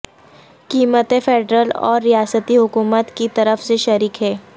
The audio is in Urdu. قیمتیں فیڈرل اور ریاستی حکومت کی طرف سے شریک ہیں